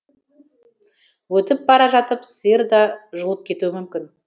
өтіп бара жатып сиыр да жұлып кетуі мүмкін